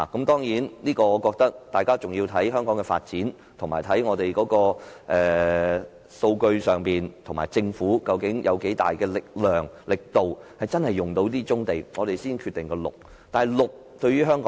當然，我覺得大家要視乎香港的發展和數據，以及政府究竟有多大力量和力度真的可以使用這些棕地，我們才決定是否使用綠色用地。